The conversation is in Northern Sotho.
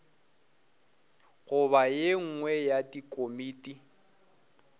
goba ye nngwe ya dikomiti